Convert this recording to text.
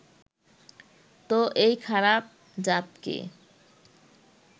তো এই খারাপ-জাতকে